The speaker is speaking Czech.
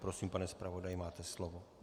Prosím, pane zpravodaji, máte slovo.